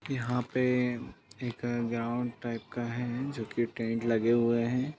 यहाँ पे एक ग्राउंड टाइप का है जो की टेंट लगे हुए हैं।